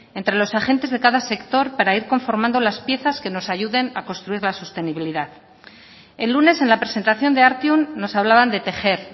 entre los agentes de cada sector para ir conformando las piezas que nos ayuden a construir la sostenibilidad el lunes en la presentación de artium nos hablaban de tejer